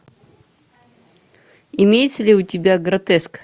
имеется ли у тебя гротеск